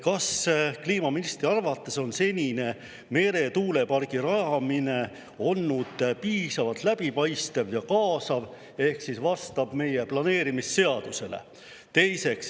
Kas kliimaministri arvates on senine meretuulepargi rajamine olnud piisavalt läbipaistev ja kaasav ja vastab meie planeerimisseadusele?